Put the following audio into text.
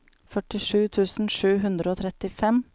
førtisju tusen sju hundre og trettifem